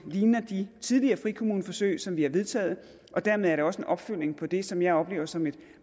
ligner jo de tidligere frikommuneforsøg som vi har vedtaget og dermed er det også en opfølgning på det som jeg oplever som et